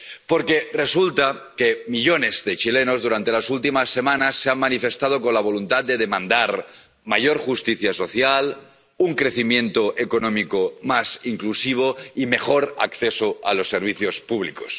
Porque resulta que millones de chilenos, durante las últimas semanas, se han manifestado con la voluntad de demandar mayor justicia social, un crecimiento económico más inclusivo y mejor acceso a los servicios públicos.